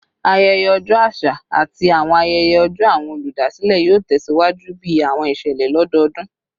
Ayẹyẹ ọjọ aṣa ati awọn ayẹyẹ ọjọ awọn oludasilẹ yoo tẹsiwaju bi awọn iṣẹlẹ lododun